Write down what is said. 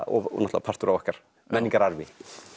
og náttúrulega partur af okkar menningararfi